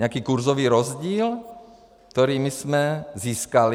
Nějaký kurzový rozdíl, který my jsme získali?